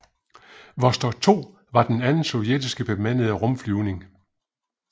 Vostok 2 var den anden sovjetiske bemandede rumflyvning